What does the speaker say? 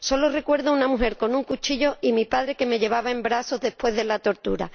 Solo recuerdo a una mujer con un cuchillo y mi padre que me llevaba en brazos después de la tortura.